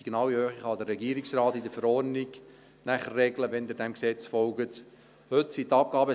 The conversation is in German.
Die genaue Höhe kann der Regierungsrat, sofern Sie diesem Gesetz folgen, in der Verordnung regeln.